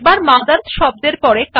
শব্দ মথার্স পরে কার্সার স্থাপন করুন